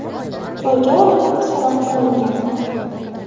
qo‘lga olinib, so‘roq qilingan.